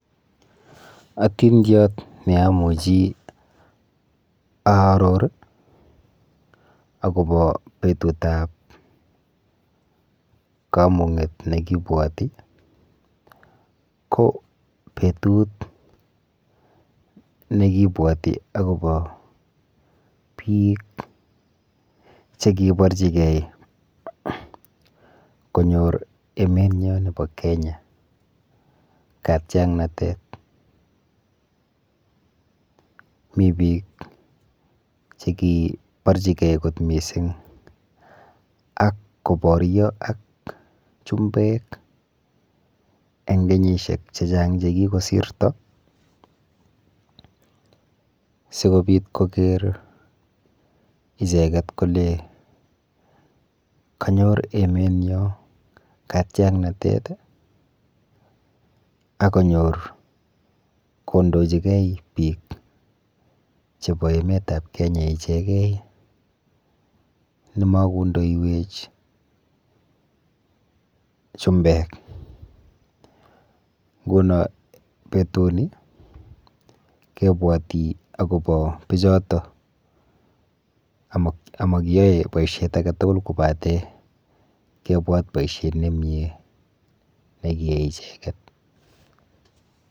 Atindiot neamuchi aaror akopo petutap kamung'et nekibwoti ko petut nekibwoti akopo biik chekiborchigei konyor emenyo nepo Kenya katyaknatet. Mi biik chekiborchigei kot mising ak koboryo ak chumbek eng kenyishek chechang chekikosirto sikobit koker icheket kole kanyor emenyo katiaknatet akonyor kondochigei biik chepo emetap Kenya ichegei nemakondoiwech chumbek. Nguno petuni kibwoti akopo bichoto amakiyoe boishet aketugul kobate kibwat boishet nemie nekiyai icheket.